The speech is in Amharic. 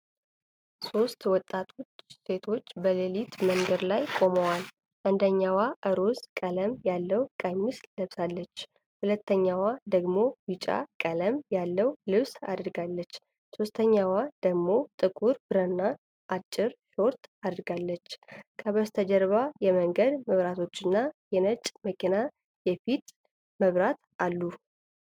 ሦስት ወጣት ሴቶች በሌሊት መንገድ ላይ ቆመዋል። አንደኛዋ ሮዝ ቀለም ያለው ቀሚስ ለብሳለች፣ ሁለተኛዋ ደግሞ ቢጫ ቀለም ያለው ልብስ አድርጋለች። ሦስተኛዋ ደግሞ ጥቁር ብራና አጭር ሾርት አድርጋለች። ከበስተጀርባ የመንገድ መብራቶችና የነጭ መኪና የፊት መብራት አሉ።